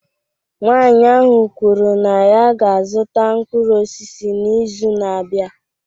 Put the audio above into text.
Nwanyị ahụ kwuru na ya ga-azụta mkpụrụ osisi n'izu na-abịa